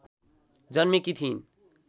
जन्मेकी थिइन्